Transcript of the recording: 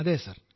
അതെ സർ